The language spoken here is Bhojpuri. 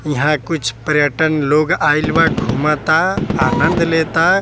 यहाँ कुछ पर्यटन लोग आइल बा घूमता आंनद लेता।